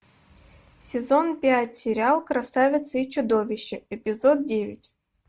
сезон пять сериал красавица и чудовище эпизод девять